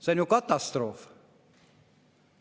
See on ju katastroof!